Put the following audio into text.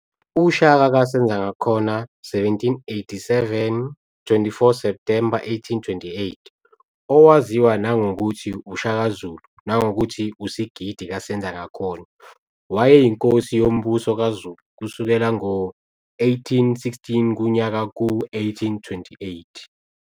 UShaka kaSenzangakhona, 1787, 24 September 1828, owaziwa nangokuthi uShaka Zulu nangokuthi uSigidi kaSenzangakhona, wayeyinkosi yoMbuso kaZulu kusukela ngo-1816 kuya ku-1828.